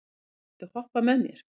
Vigri, viltu hoppa með mér?